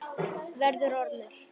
Verður ormur.